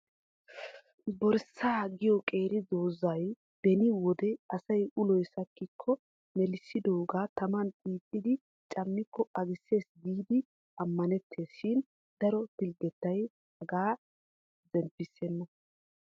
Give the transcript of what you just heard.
Boorissaa giyo qeeri doozay beni wode asay uloy sakkikko melissidooga taman xiixxidi coommiko agissees giidi amanettees shin daro pilggetay hagaa zemppissena.